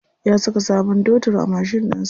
Ya saka sabon totur a mashin ɗinsa.